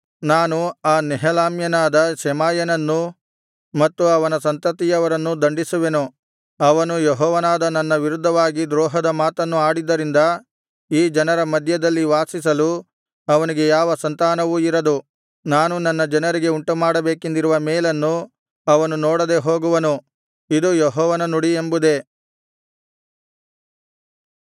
ನಾನು ಆ ನೆಹೆಲಾಮ್ಯನಾದ ಶೆಮಾಯನನ್ನೂ ಮತ್ತು ಅವನ ಸಂತತಿಯವರನ್ನೂ ದಂಡಿಸುವೆನು ಅವನು ಯೆಹೋವನಾದ ನನ್ನ ವಿರುದ್ಧವಾಗಿ ದ್ರೋಹದ ಮಾತನ್ನು ಆಡಿದ್ದರಿಂದ ಈ ಜನರ ಮಧ್ಯದಲ್ಲಿ ವಾಸಿಸಲು ಅವನಿಗೆ ಯಾವ ಸಂತಾನವೂ ಇರದು ನಾನು ನನ್ನ ಜನರಿಗೆ ಉಂಟುಮಾಡಬೇಕೆಂದಿರುವ ಮೇಲನ್ನು ಅವನು ನೋಡದೆ ಹೋಗುವನು ಇದು ಯೆಹೋವನ ನುಡಿ ಎಂಬುದೇ